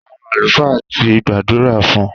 Àwọn àlùfáà ti gbàdúrà fún